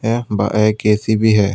यह ब एक बड़ा एक ए_सी भी है।